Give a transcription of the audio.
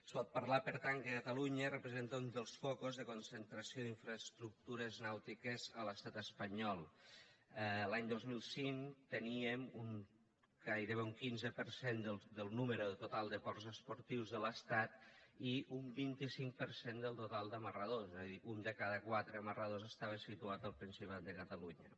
es pot parlar per tant que catalunya representa un dels focus de concentració d’infraestructures nàutiques a l’estat espanyol l’any dos mil cinc teníem gairebé un quinze per cent del nombre total de ports esportius de l’estat i un vint cinc per cent del total d’amarradors és a dir un de cada quatre amarradors estava situat al principat de catalunya